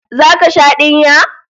Zaka sha dinya?